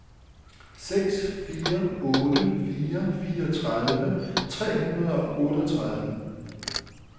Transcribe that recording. seks fire otte fire fireogtredive tre hundrede og otteogtredive